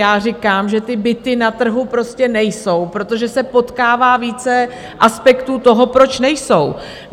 Já říkám, že ty byty na trhu prostě nejsou, protože se potkává více aspektů toho, proč nejsou.